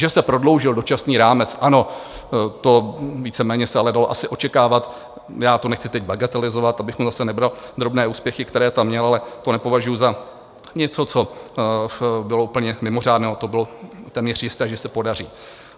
Že se prodloužil dočasný rámec, ano, to víceméně se ale dalo asi očekávat, já to nechci teď bagatelizovat, abych mu zase nebral drobné úspěchy, které tam měl, ale to nepovažuji za něco, co bylo úplně mimořádné, to bylo téměř jisté, že se podaří.